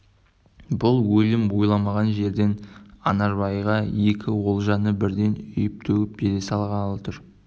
бұл өлім ойламаған жерден анарбайға екі олжаны бірден үйіп-төгіп бере салғалы тұр